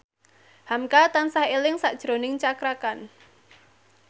hamka tansah eling sakjroning Cakra Khan